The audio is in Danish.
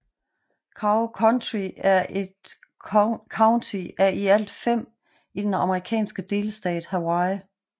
Kauai County er et county af i alt fem i den amerikanske delstat Hawaii